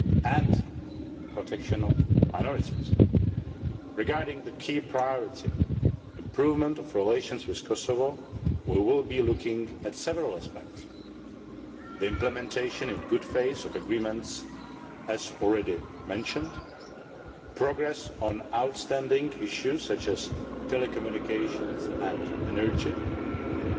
and the protection of minorities. Regarding the key priority the improvement of relations with Kosovo we will be looking at several aspects the implementation in good faith of agreements progress on outstanding issues such as telecommunications and energy, and